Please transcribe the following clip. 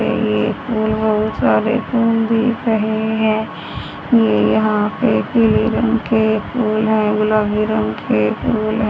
ये फूल बहुत सारे फूल दिख रहे हैं ये यहां पे पीले रंग के फूल हैं गुलाबी रंग के फूल --